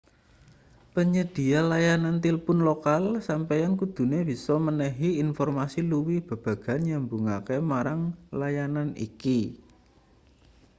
panyedhiya layanan tilpun lokal sampeyan kudune bisa menehi informasi luwih babagan nyambungake marang layanan iki